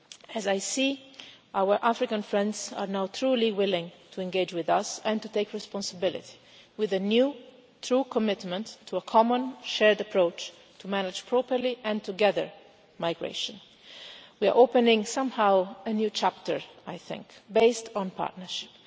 As I see our African friends are now truly willing to engage with us and to take responsibility, with a new true commitment to a common shared approach to manage migration properly and together, we're opening somehow a new chapter, I think, based on partnership.